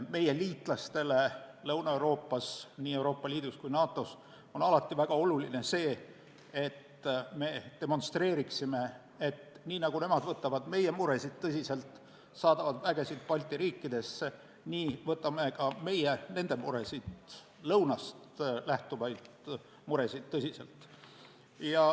Meie liitlastele Lõuna-Euroopas – nii Euroopa Liidus kui ka NATO-s – on alati väga tähtis, kui me demonstreerime, et nii nagu nemad võtavad tõsiselt meie muresid ja saadavad vägesid Balti riikidesse, võtame ka meie nende muresid tõsiselt.